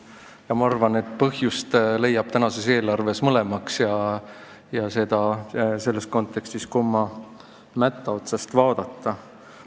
Ja ma arvan, et põhjust leiab tänase eelarve puhul mõlemaks, olenevalt kontekstist, kumma mätta otsast vaadata.